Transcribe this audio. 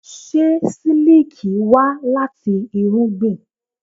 Ṣé sílíkì wá láti irúgbìn?